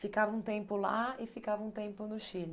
Ficava um tempo lá e ficava um tempo no Chile.